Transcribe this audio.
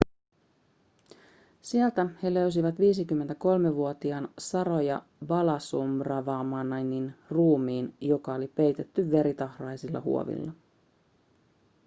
sieltä he löysivät 53-vuotiaan saroja balasubramanianin ruumiin joka oli peitetty veritahraisilla huovilla